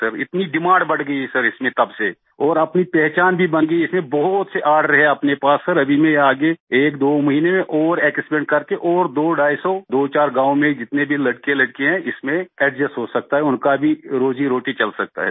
इतनी डिमांड बढ़ गई है इसमें तब सेऔर इसमें अपनी पहचान भी बन गई है इसमें बहुत से आर्डर हैं अपने पास सर अभी मै आगे एकदो महीनें में और एक्सपैंड करके और दोढाई सौ दोचार गांव में जितने भी लड़केलड़कियां हैं इसमें एडजस्ट हो सकते हैं उनका भी रोज़ीरोटी चल सकता है सर